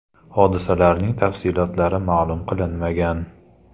Hodisalarning tafsilotlari ma’lum qilinmagan.